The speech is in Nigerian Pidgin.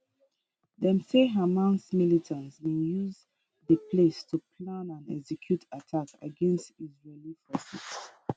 dem say hamas militants bin use di place to plan and execute attacks against israeli forces